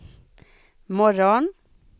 morgon